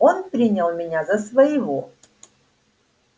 он принял меня за своего